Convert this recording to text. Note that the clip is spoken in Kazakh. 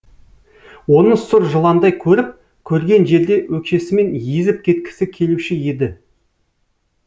оны сұр жыландай көріп көрген жерде өкшесімен езіп кеткісі келуші еді